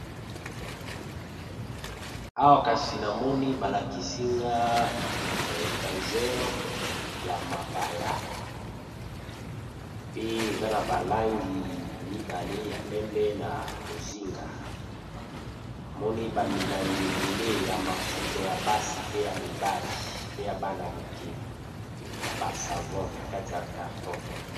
Awa kasi namoni ba lakisi nga etageur ya mabaya pe eza na ba langi mibale ya pembe na bozinga, namoni ba milangi ebele ya mafuta ya basi pe ya mibali pe ya bana mike na ba savon na kati ya carton.